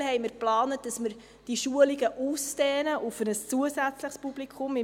Aktuell haben wir geplant, dass wir diese Schulungen auf ein zusätzliches Publikum ausdehnen.